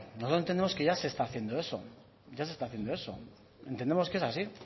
nosotros entendemos que ya se está haciendo eso ya se está haciendo eso entendemos que es así